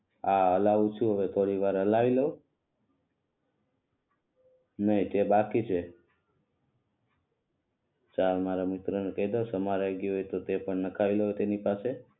હા હલાવું છું હવે થોડી વાર હલાવી લવ ના તે બાકી છે. ચાલ મારા મિત્ર ને કઈ દવ સમારઈ ગ્યુ હોય તો તે પણ નખાઈ લવ તેની પાસે